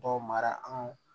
Dɔw mara an